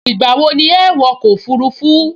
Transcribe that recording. Ìgbà wo ni ẹ wọ ọkọ̀ òfurufú??